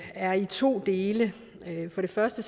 er i to dele for det første